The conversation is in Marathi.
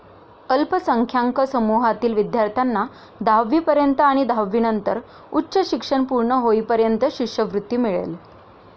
अल्पसंख्यांक समूहातील विध्यार्थ्यांना दहावीपर्यंत आणि दहावीनंतर उच्च शिक्षण पूर्ण होईपर्यंत शिष्यवृत्ती मिळेल.